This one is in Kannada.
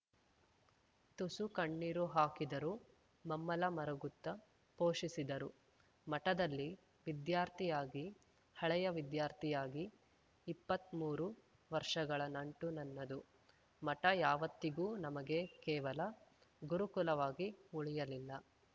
ತುಸು ಕಣ್ಣೀರು ಹಾಕಿದರೂ ಮಮ್ಮಲ ಮರುಗುತ್ತ ಪೋಷಿಸಿದರು ಮಠದಲ್ಲಿ ವಿದ್ಯಾರ್ಥಿಯಾಗಿ ಹಳೆಯ ವಿದ್ಯಾರ್ಥಿಯಾಗಿ ಇಪ್ಪತ್ಮೂರು ವರ್ಷಗಳ ನಂಟು ನನ್ನದು ಮಠ ಯಾವತ್ತಿಗೂ ನಮಗೆ ಕೇವಲ ಗುರುಕುಲವಾಗಿ ಉಳಿಯಲಿಲ್ಲ